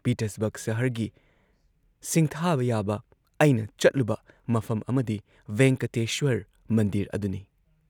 Pittsburgh ꯁꯍꯔꯒꯤ ꯁꯤꯡꯊꯥꯕ ꯌꯥꯕ ꯑꯩꯅ ꯆꯠꯂꯨꯕ ꯃꯐꯝ ꯑꯃꯗꯤ ꯚꯦꯡꯀꯇꯦꯁ꯭ꯋꯔ ꯃꯟꯗꯤꯔ ꯑꯗꯨꯅꯤ